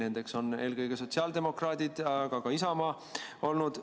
Need on eelkõige sotsiaaldemokraadid, aga ka Isamaa on olnud.